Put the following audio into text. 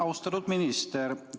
Austatud minister!